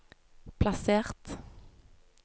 plassert